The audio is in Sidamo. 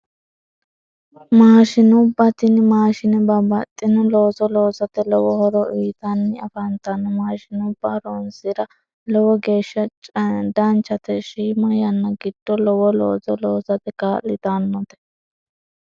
Maashinubba tini maashine babbaxxino looso loosate lowo horo uyitanni afantanno maashinubba horonsira lowo geeshsha danchate shiima yanna giddo lowo looso loosate kaa'litannote